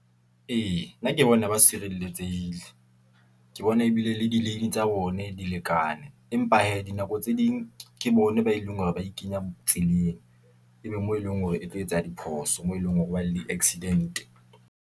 Ee, nna ke bona ba sireletsehile , ke bona ebile le di-lane tsa bone di lekane. Empa hee, dinako tse ding ke bona ba e leng hore ba ikenya tseleng. Ebe moo eleng hore e tlo etsa diphoso, moo eleng hore ba le di-accident-e.